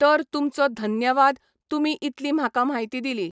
तर तुमचो धन्यवाद तुमी इतली म्हाका म्हायती दिली.